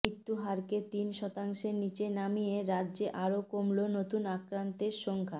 মৃত্যুহারকে তিন শতাংশের নীচে নামিয়ে রাজ্যে আরও কমল নতুন আক্রান্তের সংখ্যা